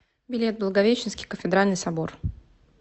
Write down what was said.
билет благовещенский кафедральный собор